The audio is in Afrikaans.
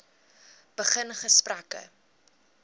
begin gesprekke